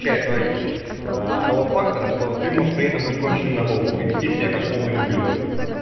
чая той того фактора что ты можешь при этом быть конченым на голову и вести себя как полный ублюдок